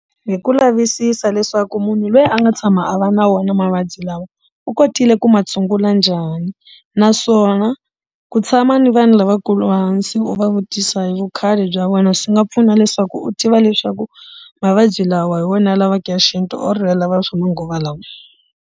Hi ku lavisisa leswaku munhu luya a nga tshama a va na wona mavabyi lawa u kotile ku ma tshungula njhani naswona ku tshama ni vanhu lavakulu hansi u va vutisa hi vukhale bya vona swi nga pfuna leswaku u tiva leswaku mavabyi lawa hi wona ya lavaka ya xinto or ya lava swa manguva lawa.